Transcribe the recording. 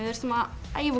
æfa